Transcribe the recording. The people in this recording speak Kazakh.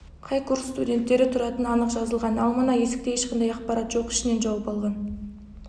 қай курс студенттері түратыны анық жазылған ал мына есікте ешқандай ақпарат жоқ ішінен жауып алған